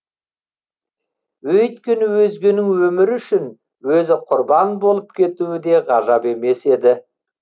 өйткені өзгенің өмірі үшін өзі құрбан болып кетуі де ғажап емес еді